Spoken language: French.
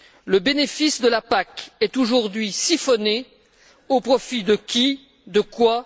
Le bénéfice de la PAC est aujourd'hui siphonné, au profit de qui, de quoi?